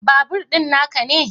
Babur din na ka ne?